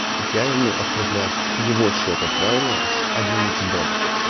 я ему отправляю с его счета правильно с один икс бэт